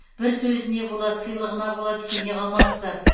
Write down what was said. бір сөзіне бола сыйлығына бола сене қалмаңыздар